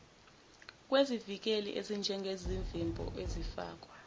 kwezivikeli ezinjengezivimbo ezifakwa